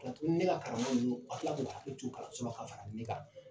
Ne ka tugunu ne ka karamɔgɔ ninnu ka tila k'u hakili to kalansola ka fara ne ka